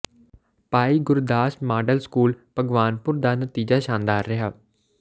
ਭਾਈ Gurdas model school Bhagwanpur ਦਾ ਨਤੀਜਾ ਸ਼ਾਨਦਾਰ ਰਿਹਾ